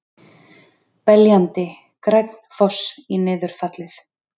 Beljandi, grænn foss í niðurfallið.